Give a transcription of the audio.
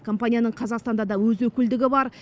компанияның қазақстанда да өз өкілдігі бар